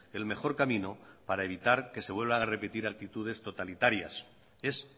el mejor camino para evitar que se vuelvan a repetir actitudes totalitarias es